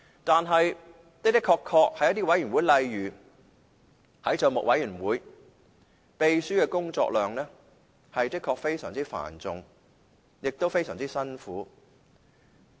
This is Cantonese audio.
在一些委員會，例如政府帳目委員會，秘書的工作量的確是非常繁重和辛苦的。